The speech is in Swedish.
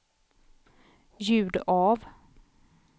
ljud av